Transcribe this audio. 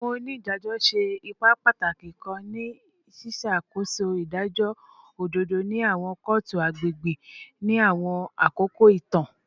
Awọn onidajọ ṣe ipa pataki kan ni ṣiṣakoso idajọ ododo ni awọn kootu agbegbe ni awọn akoko itan